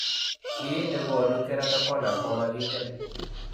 Kiiy ne koonu keratoconus komakiinkem.